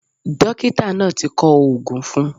Dókítà náà ti kọ oògùn fun un